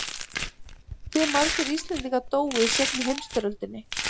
Hve margir Íslendingar dóu í seinni heimsstyrjöldinni?